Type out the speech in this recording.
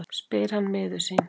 spyr hann miður sín.